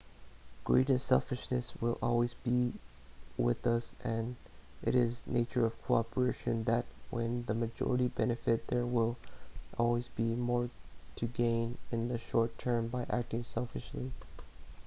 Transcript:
greed and selfishness will always be with us and it is the nature of cooperation that when the majority benefit there will always be more to gain in the short term by acting selfishly